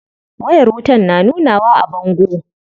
Wayar bangon na nunawa a bango?